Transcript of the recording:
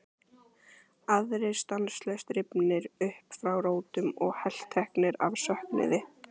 Aðrir stanslaust rifnir upp frá rótum og helteknir af söknuði.